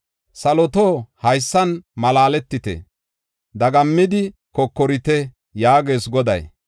“Saloto, haysan malaaletite; dagammidi kokorite” yaagees Goday